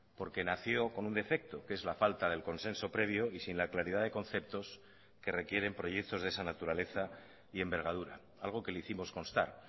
porque nació con un defecto que es la falta del consenso previo y sin la claridad de conceptos que requieren proyectos de esa naturaleza y envergadura algo que le hicimos constar